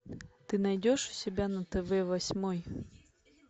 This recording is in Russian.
ты найдешь у себя на тв восьмой